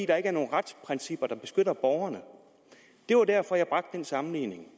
der ikke nogen retsprincipper der beskyttede borgerne det var derfor jeg bragte den sammenligning